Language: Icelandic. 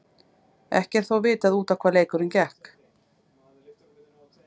Ekki er þó vitað út á hvað leikurinn gekk.